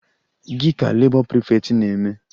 Gị ka Labour prefect na-eme?